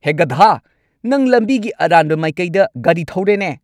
ꯍꯦ, ꯒꯙꯥ꯫ ꯅꯪ ꯂꯝꯕꯤꯒꯤ ꯑꯔꯥꯟꯕ ꯃꯥꯏꯀꯩꯗ ꯒꯥꯔꯤ ꯊꯧꯔꯦꯅꯦ꯫